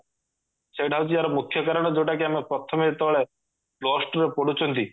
ସେଇଟା ହଉଛି ଆର ମୁଖ୍ୟ କାରଣ ଯଉଟା କି ଆମେ ପ୍ରଥମେ ଯେତେବେଳେ plus two ରେ ପଢୁଛନ୍ତି